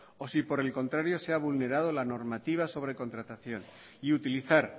o si por el contrario se ha vulnerado la normativa sobre contratación y utilizar